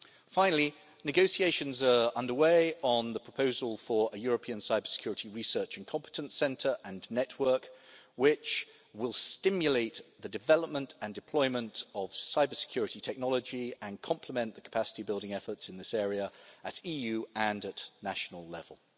Finally, negotiations are underway on the proposal for a European cybersecurity research and competence centre and network, which will stimulate the development and deployment of cybersecurity technology and complement the capacity building efforts in this area at EU— and national levels.